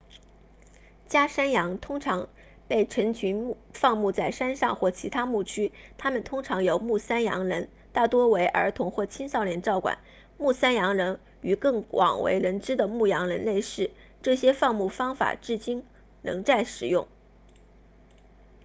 家山羊通常被成群放牧在山上或其他牧区它们通常由牧山羊人大多为儿童或青少年照管牧山羊人与更广为人知的牧羊人类似这些放牧方法至今仍在使用